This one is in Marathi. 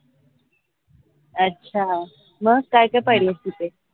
अच्छा मग काय काय पाहिलस तिथे?